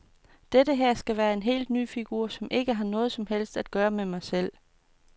Dette her skal være en helt ny figur, som ikke har noget som helst at gøre med mig selv.